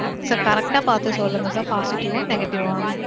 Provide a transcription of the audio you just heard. Sir correct டா பாத்து சொல்லுங்க sir. positive ஆ இல்ல negative ஆ?